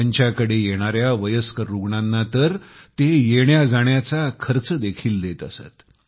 त्यांच्याकडे येणाऱ्या वयस्क रुग्णांना तर ते येण्याजाण्याचा खर्च देखील देत असत